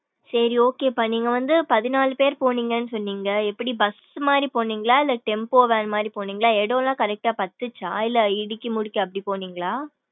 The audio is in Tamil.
சேரி okay பா நீங்க வந்து பதினாலு பேரு போனிங்கனு சொன்னிங்க எப்படி bus மாரி போன்னின்களா இல்ல tempo van மாரி போனிங்களா இடம்லாம் correct பாத்துச்சா இல்ல இடிக்கி முடிக்கி அப்படிபோனிங்களா.